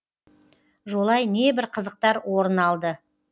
жолай небір қызықтар орын алды